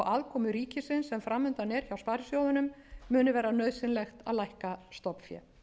aðkomu ríkisins sem fram undan er hjá sparisjóðunum muni verða nauðsynlegt að lækka stofnfé